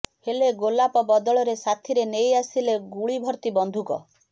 ହେଲେ ଗୋଲାପ ବଦଳରେ ସାଥୀରେ ନେଇ ଆସିଥିଲେ ଗୁଳିଭର୍ତ୍ତି ବନ୍ଧୁକ